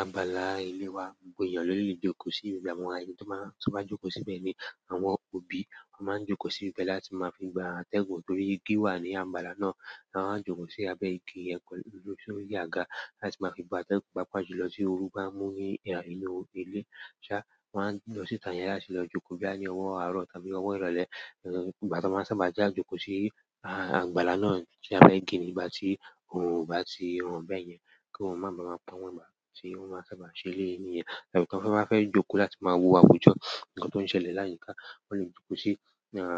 Abala ilé wa gbogbo ènìyàn ló lè jókò sí i, ìgbà mọ́ àwọn ẹni tó máa ń sábà jókò síbẹ̀ ni àwọn òbí. Wọ́n máa ń jókò síbẹ̀ láti máa fi gba àtẹ́gùn torí ìgi wà ní àgbàlá náà. Wọ́n máa ń jókò sí abẹ́ igi yẹn ló sórí àgà láti máa fi gba àtẹ́gùn, pàápàá julọ tí oorú bá mú ní inú ilé. Ṣá, wọ́n á lọ síta yẹn láti lọ jókò bóyá bí owó àárọ̀ tàbí owó ìrọ̀lẹ́. Ìgbà tí wọ́n sábà ja jókò sí àgbàlá náà tí a fẹ́ gẹ nígbà tí òun bá ti hàn bẹ́ẹ̀ yẹn, kí wọ́n máa ba máa pa wọ́n bá ti, wọ́n máa sábà ṣe ilé ìníyẹn. Ìdàgbàsókè wọ́n máa fẹ́ jókò láti máa wo àwùjọ. Ǹkan tó ń ṣẹlẹ̀ láyìíká, wọ́n lè jókò sí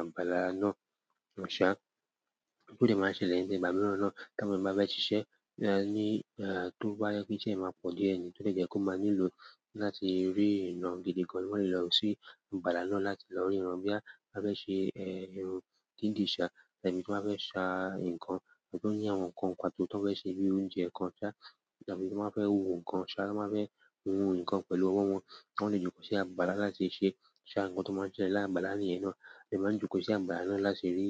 àgbàlá náà. O dẹ̀ maa ń ṣẹlẹ̀ nígbà mìíràn náà ti àwọn èèyàn ba fẹ ṣiṣe ní, tó bá jẹ pé ìṣe máa pọ̀ díẹ̀ ni ó le jẹ́ kó máa nílò láti rí ìran gidi gan an, wọn lè lọ sí abala náà láti lọ rí ìran. Bóyá á fẹ́ ṣe eh ìrun dídì ṣá, tàbí tí wọ́n bá fẹ́ ṣà ǹkan, ohùn tó ní àwọn ǹkan pàtó tó fẹ́ ṣe bíi oúnjẹ kan ṣá, tàbí tí wọ́n fẹ́ wo ǹkan ṣá, wọ́n máa fẹ́ hun ǹkan pẹ̀lú ọwọ́ wọn, wọn lè jókò sí àgbàlá láti ṣe ṣà ǹkan tó máa ń ṣẹlẹ̀ ni àgbàlá nìyẹn. Wọn lè máa jókò sí abala náà láti rì,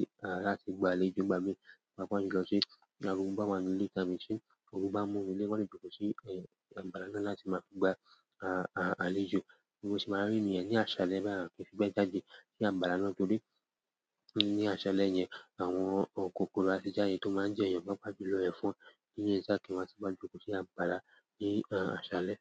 láti gba àlejò nígbà mí, pàápàá julọ tí orúgbo bá wáa nínú ílé tàbí sí orú bá mú nínú ilé, wọn lè jókò sí àgbàlá náà láti máa gba a-a-àlejò. Ǹjẹ́ wọ́n sì máa rí ènìyàn ní àsálẹ́ bá yà, kí sì gba jáde sí abala náà torí ní àsálẹ́ yẹn àwọn kòkòrò aṣíjà yẹn tó máa ń jẹ́ èèyàn máa pà jú lọ ẹ̀fọn. Ó ní bí a ṣe má ṣe bí apáràa bí àṣálẹ́